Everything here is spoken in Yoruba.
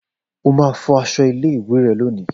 O máa fọ aṣọ ilé ìwé rẹ lónìí!